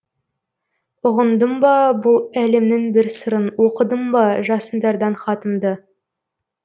ұғындым ба бұл әлемнің бір сырын оқыдың ба жасындардан хатымды